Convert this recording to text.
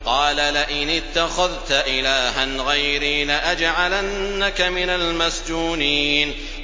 قَالَ لَئِنِ اتَّخَذْتَ إِلَٰهًا غَيْرِي لَأَجْعَلَنَّكَ مِنَ الْمَسْجُونِينَ